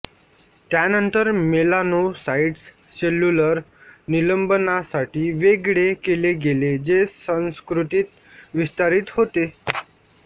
त्यानंतर melanocytes cellular निलंबनासाठी वेगळे केले गेले जे संस्कृतीत विस्तारित होते